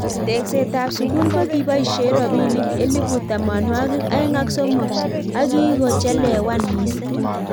Tekset ab sukul kokiboishe robinik elibu tamwanikik aeng ak somok akikochelewan missing.